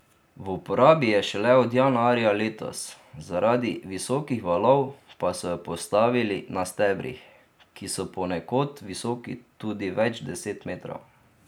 V uporabi je šele od januarja letos, zaradi visokih valov pa so jo postavili na stebrih, ki so ponekod visoki tudi več deset metrov.